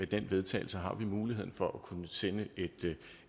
til vedtagelse har vi muligheden for at kunne sende